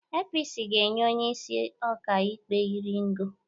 APC ga-enye onye isi ọka ikpe iri ngo